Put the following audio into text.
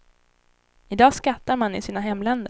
I dag skattar man i sina hemländer.